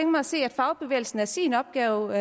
mig at se at fagbevægelsen er sin opgave